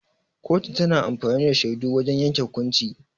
Kotu tana amfani da shaidu wajan yanke hukunci.